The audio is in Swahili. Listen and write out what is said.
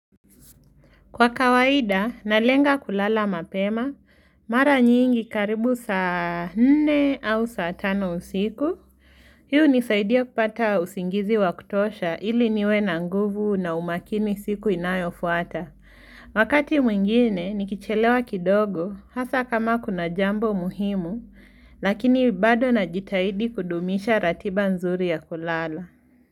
Kwa kawaida, nalenga kulala mapema, mara nyingi karibu saa nne au saa tano usiku. Hii hunisaidia kupata usingizi wa kutosha ili niwe na nguvu na umakini siku inayo fuata. Wakati mwingine, nikichelewa kidogo, hasa kama kuna jambo muhimu, lakini bado na jitahidi kudumisha ratiba nzuri ya kulala.